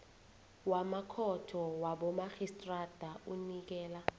wamakhotho wabomarhistrada unikela